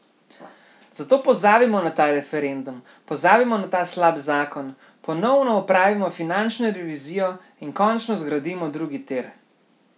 Zato pozabimo na ta referendum, pozabimo na ta slab zakon, ponovno opravimo finančno revizijo in končno zgradimo drugi tir.